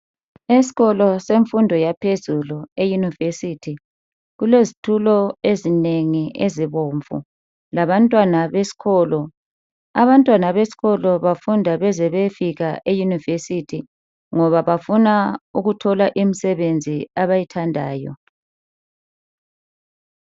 Eskolo semfundo yaphezulu euniversity, kulezitulo ezinengi ezibomvu labantwana beskolo. Abantwana beskolo bafunda beze beyefika euniversity ngoba bafuna ukuthola imsebenzi abayithandayo